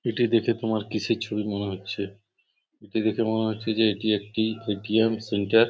এইটি দেখে তোমার কিসের ছবি মনে হচ্ছে? এটি দেখে মনে হচ্ছে যে এইটি একটি এ.টি.এম সেন্টার ।